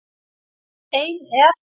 Ein er